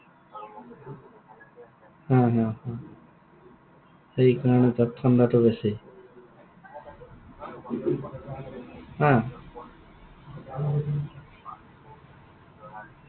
হা, হা, হা। সেইকাৰণে তাত ঠাণ্ডাটো বেছি। অ।